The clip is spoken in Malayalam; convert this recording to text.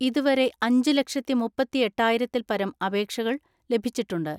ഇതുവരെ അഞ്ചുലക്ഷത്തി മുപ്പത്തിഎട്ടായിരത്തിൽപ്പരം അപേക്ഷകൾ ലഭിച്ചിട്ടുണ്ട്.